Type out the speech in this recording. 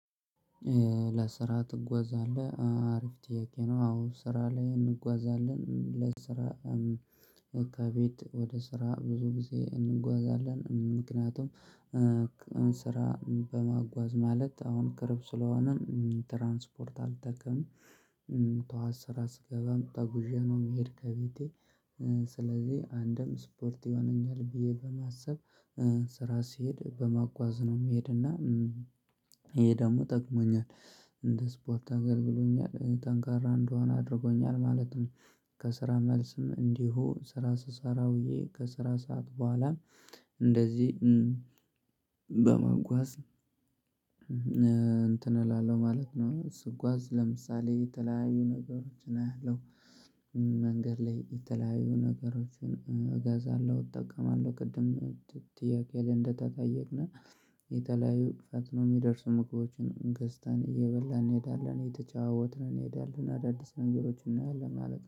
ለስራ ትጓዛለህ? አሪፍ ጥያቄ ነው። አዎ ስራ ላይ እንጓዛለን ለስራ ከቤት ወደ ስራ ብዙ ጊዜ እንጓዛለን። ምክንያቱም ስራ በማጓዝ ማለት አሁን ቅርብ ስለሆነ ትራንስፖርት አልጠቀምም። ጠዋት ስራ ስገባም ተጉዤ ነው ምሄድ ከቤቴ ስለዚህ አንድም ስፖርት ይሆነኛል ብዬ በማሰብ ስራ ስሄድ በመጓዝ ነው ምሄድና ይሄ ደግሞ ጠቅሞኛል እንደ ስፖርት አገልግሎኛል ጠንካራ እንድሆን አድርጎኛል ማለት ነው። ከስራ መልስም እንዲሁ ስራ ስሰራ ውዬ ከስራ ሰዓት በኋላም እንደዚህ በመጓዝ እንትን እላለሁ ማለት ነው። ስጓዝ ለምሳሌ የተለያዩ ነገሮችን አያለሁ መንገድ ላይ የተለያዩ ነገሮችን እገዛለሁ እጠቀማለሁ ቅድም ጥያቄ እንደተጠየቅን የተለያዩ ፈጥነው ሚደርሱ ምግቦችን ገዝተን እየበላን እንሄዳለን እንሄዳለን እንሄዳለን አዳዲስ ነገሮችን እናያለን ማለት ነው።